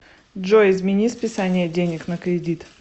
джой измени списание денег на кредит